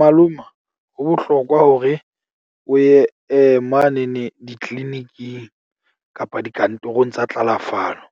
Maloma ho bohlokwa hore o ye mane ne di-clinic-ing kapa dikantorong tsa tlalafalo.